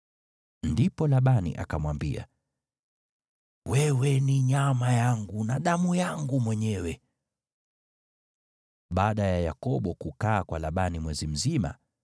Ndipo Labani akamwambia, “Wewe ni nyama yangu na damu yangu mwenyewe.” Yakobo Awaoa Lea Na Raheli Baada ya Yakobo kukaa kwa Labani mwezi mzima,